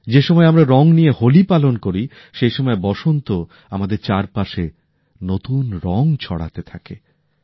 যে সময়ে আমরা রং নিয়ে হোলি পালন করি সেই সময় বসন্ত আমাদের চারপাশে নতুন রং ছড়াতে থাকে